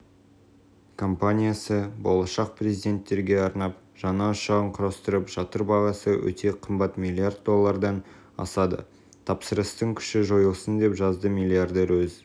компаниясы болашақ президенттерге арнап жаңа ұшағын құрастырып жатыр бағасы өте қымбат млрд доллардан асады тапсырыстың күші жойылсын деп жазды миллиардер өз